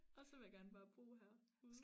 Og så vil jeg gerne bare bo her ude